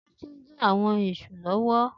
Titi n dín áwòn èṣú lòwò